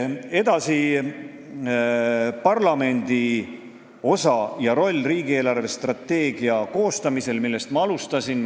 Järgmiseks, parlamendi osa ja roll riigi eelarvestrateegia koostamisel, millest ma alustasin.